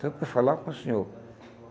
Só para falar com o senhor.